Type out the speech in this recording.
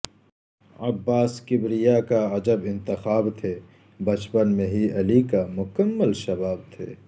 عباس کبریاکا عجب انتخاب تھے بچپن میں ہی علی کا مکمل شباب تھے